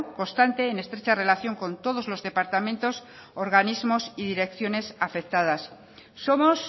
constante en estrecha relación con todos los departamentos organismos y direcciones afectadas somos